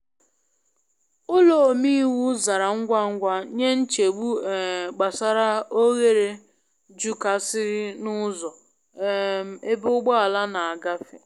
Ụlọ omeiwu zara ngwa ngwa nye nchegbu um gbasara oghere jukasiri n’ụzọ um egbe ugbọala na agbafe.